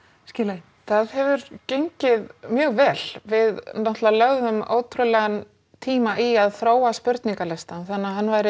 skila inn það hefur gengið mjög vel við náttúrulega lögðum ótrúlegan tíma í að þróa spurningalistann þannig að hann væri